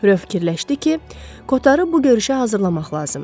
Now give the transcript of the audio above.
Röv fikirləşdi ki, Kotarı bu görüşə hazırlamaq lazımdır.